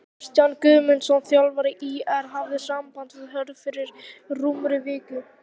Kristján Guðmundsson þjálfari ÍR hafði samband við Hörð fyrir rúmri viku.